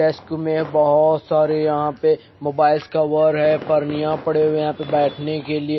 Desk मे बहोत सारे यहां पे मोबाइल्स कवर है पर्निया पड़े हुए यहां पे बैठने के लिए।